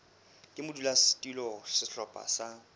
ka modulasetulo wa sehlopha sa